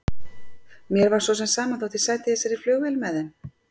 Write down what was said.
Mér var svo sem sama þó ég sæti í þessari flugvél með þeim.